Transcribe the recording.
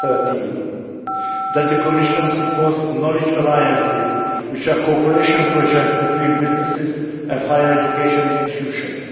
2013 that the Commission supports knowledge alliances which are cooperation projects between businesses and higher education institutions